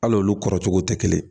Al'olu kɔrɔcogo tɛ kelen ye